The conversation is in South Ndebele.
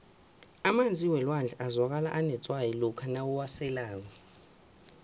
emanzi welwandle azwakala anetswayi lokha uwaselako